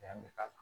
Yan bɛ k'a la